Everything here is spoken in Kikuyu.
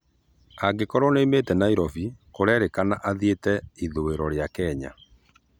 Angĩkorwo nĩaumĩte Nairobi, kurerĩkana arathĩre ĩthũĩro ria Kenya